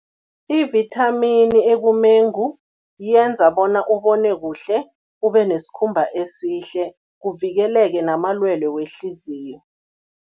Ivithamini ekumengu yenza bona ubone kuhle, ube nesikhumba esihle, kuvikeleke namalwelwe wehliziyo.